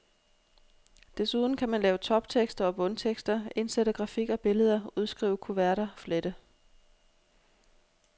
Desuden kan man lave toptekster og bundtekster, indsætte grafik og billeder, udskrive kuverter, flette.